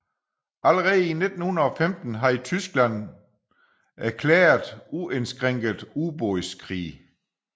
Allerede i 1915 havde Tyskland erklæret uindskrænket ubådskrig